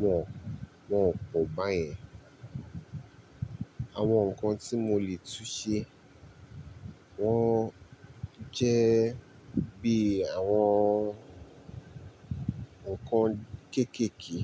wọ́n, wọ́n pò bá yẹn. Àwọn nǹkan tí mo lè tún ṣe, wọ́n jẹ́ bí àwọn nǹkan kéékèèké.